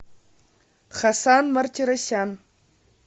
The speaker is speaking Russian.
хасан мартиросян